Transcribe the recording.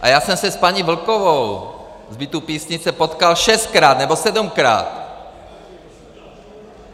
A já jsem se s paní Vlkovou z bytu Písnice potkal šestkrát nebo sedmkrát.